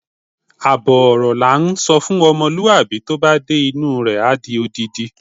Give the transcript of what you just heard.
Àbọ̀ ọ̀rọ̀ lá ǹsọ fún ọmọlúwàbí, tó bá dé inú rẹ̀, a di odindi.